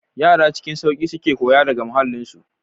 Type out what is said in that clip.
Yara cikin sauki suke koyo daga muhallinsu.